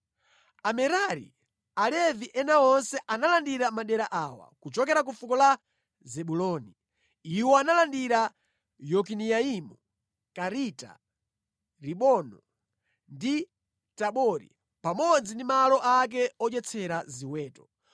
Amerari (Alevi ena onse) analandira madera awa: kuchokera ku fuko la Zebuloni, iwo analandira Yokineamu, Karita, Rimono ndi Tabori, pamodzi ndi malo ake odyetsera ziweto;